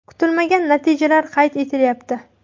Kutilmagan natijalar qayd etilyapti.